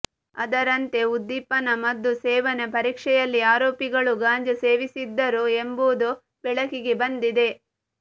ಅದರಂಯತೆ ಉದ್ದೀಪನ ಮದ್ದು ಸೇವನೆ ಪರೀಕ್ಷೆಯಲ್ಲಿ ಆರೋಪಿಗಳು ಗಾಂಜಾ ಸೇವಿಸಿದ್ದರು ಎಂಬುದು ಬೆಳಕಿಗೆ ಬಂದಿದೆ